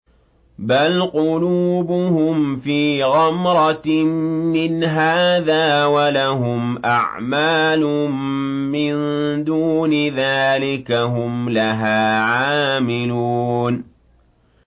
بَلْ قُلُوبُهُمْ فِي غَمْرَةٍ مِّنْ هَٰذَا وَلَهُمْ أَعْمَالٌ مِّن دُونِ ذَٰلِكَ هُمْ لَهَا عَامِلُونَ